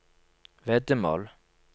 veddemål